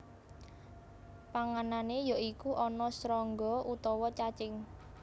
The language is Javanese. Panganané ya iku ana srangga utawa cacing